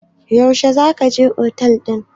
Yaushe za ka je otel ɗin?